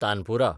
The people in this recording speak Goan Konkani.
तानपुरा